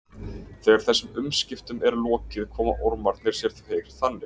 Þegar þessum umskiptum er lokið koma ormarnir sér fyrir þannig að